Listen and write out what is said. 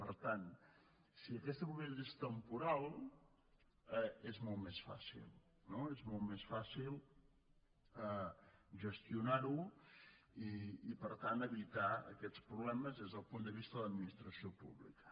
per tant si aquesta propietat és temporal és molt més fàcil no és molt més fàcil gestionar ho i per tant evitar aquests problemes des del punt de vista de l’administració pública